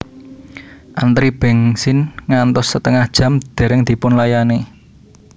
Antri bensin ngantos setengah jam dereng dipunlayani